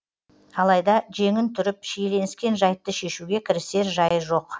алайда жеңін түріп шиеленіскен жайтты шешуге кірісер жайы жоқ